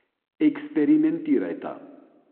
Eksperimentirajta.